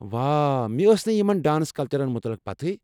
واہ، مےٚ ٲس نہٕ یِمَن ڈانس کلچرَن متعلِق پتہ۔